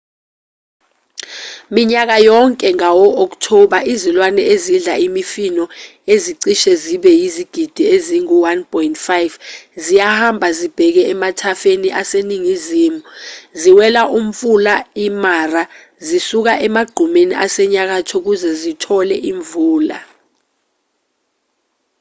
minyaka yonke ngabo-okthoba izilwane ezidla imifino ezicishe zibe yizigidi ezingu-1,5 ziyahamba zibheke emathafeni aseningizimu ziwela umfula i-mara zisuka emagqumeni asenyakatho ukuze zitole imvula